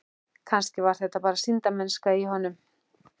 Kannski var þetta bara sýndarmennska í honum.